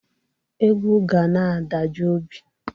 Egwu ga na-adajụ obi